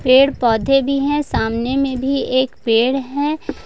पेड़ पौधे भी हैं सामने में भी एक पेड़ है।